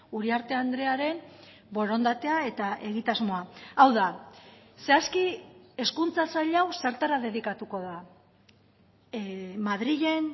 uriarte andrearen borondatea eta egitasmoa hau da zehazki hezkuntza sail hau zertara dedikatuko da madrilen